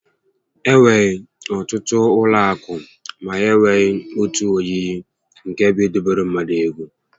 Enwere ọtụtụ ụlọ akụ ma ha enyekwa otu oyiyi nke bụ idobere ndị mmadụ ego